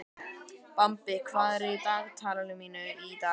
Bambi, hvað er í dagatalinu mínu í dag?